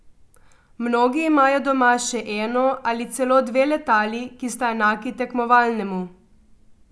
Mnogi imajo doma še eno ali celo dve letali, ki sta enaki tekmovalnemu.